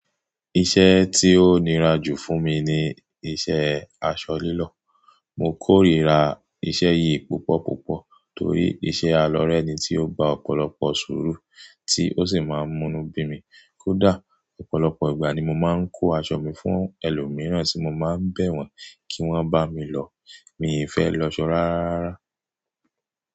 Iṣẹ́ tí ó nira jù fún mi ni iṣẹ́ aṣọ lílọ̀. Mo kórìíra iṣẹ́ yìí púpọ̀púpọ̀ torí iṣẹ́ alọ́rẹ́ ni tí ó ń ba ọ̀pọ̀lọpọ̀ sùúrù tí ó sì máa ń múnú bí mi. Kódà ọ̀pọ̀lọpọ̀ ìgbà ni mo máa ń kó aṣọ mi fún ẹlòmíràn tí mo máa ń bẹ̀ wọ́n kí wọ́n bá mi lọ̀, mi ò fẹ́ lọ aṣọ rárá.